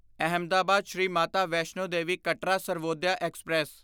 Ahmedabad Shri Mata Vaishno Devi Katra Sarvodaya express